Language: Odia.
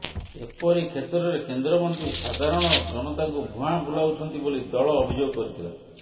ଏପରିକ୍ଷେତ୍ରରେ କେନ୍ଦ୍ରମନ୍ତ୍ରୀ ସାଧାରଣ ଜନତାଙ୍କୁ ଭୁଆଁ ବୁଲାଉଛନ୍ତି ବୋଲି ଦଳ ଅଭିଯୋଗ କରିଥିଲା